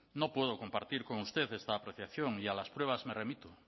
no puedo compartir con usted esta apreciación y a las pruebas me remito